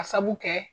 Ka sabu kɛ